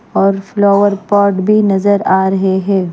और flower pot भी नजर आ रहे हैं।